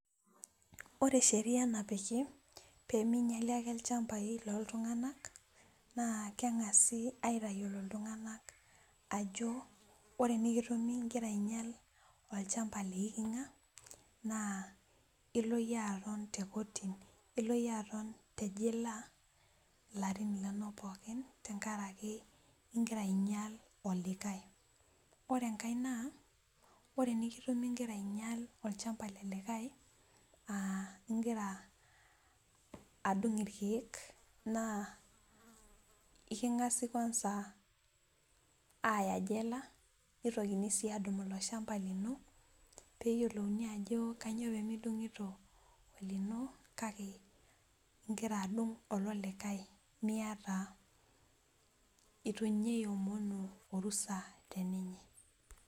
Ore sheria napiki pee minyali ichampai looltungank naa kengasi aitayiolo ajo ore pee kitumi ingira ainyal olchampa leikinga naa ilo yie aton tekotini ashu ilo yie aton tejila larin linonok pookin tenkaraki ingira ainyal olikae ,ore enkae naa ore pee kitumi ingira ainyal olchampa lelikae engira adung irkeek naa kingasi kwanza aya jela nitokini sii adung ilo shampa lino ,neyiolouni ajo kainyo pee mingira adung olino kake idungito olelikae neitu iomonu orusa pee idung.